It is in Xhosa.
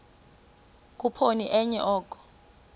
khuphoni enye oko